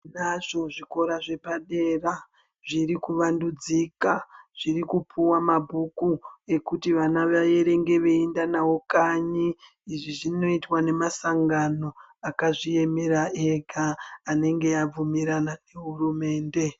Tinazvo zvikora zvepadera zvirikuvandudzika zvirikupuwa mabhuku ekuti vana vaerenge veinda nawo kanyi. Izvi zvinoitwa nemasangano akazviemera ega anenge abvumirana nehurumende.